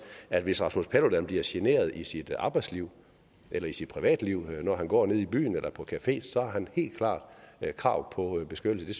at hvis rasmus paludan bliver generet i sit arbejdsliv eller i sit privatliv når han går nede i byen eller på café så har han helt klart krav på beskyttelse